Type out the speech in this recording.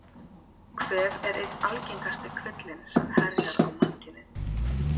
Kvef er einn algengasti kvillinn sem herjar á mannkynið.